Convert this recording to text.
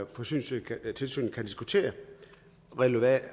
forsyningstilsynet kan diskutere relevante